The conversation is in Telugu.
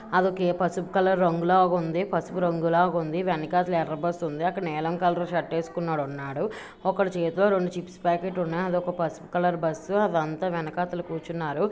అదోకే పసుపు కలర్ రంగు లాగా ఉంది. పసుపు రంగు లాగా ఉంది. వెనకాల ఎర్ర బస్సు ఉంది. అక్కడ నీలం కలర్ షర్ట్ వేసుకొనున్నడు. ఒక్కళ్ళ చేతిలో రెండు చిప్స్ ప్యాకెట్ ఉన్నాయి. అదొక పసుపు కలర్ బస్సు అదంతా వెనకాతల కూర్చున్నారు.